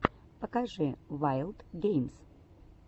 покажи ваилд геймс